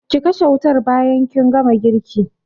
Ki kashe wutan bayan kin gama girki